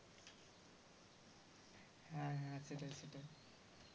হ্যাঁ হ্যাঁ সেটাই সেটাই